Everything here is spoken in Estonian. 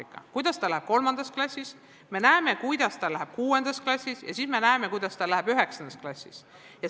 Me näeme, kuidas tal läheb 3. klassis, me näeme, kuidas tal läheb 6. klassis, ja siis me näeme, kuidas tal läheb 9. klassis.